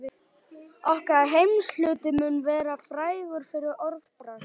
Okkar heimshluti mun vera frægur fyrir orðbragð.